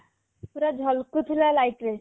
ପୁରା ଝଲ୍କୁ ଥିଲା light ରେ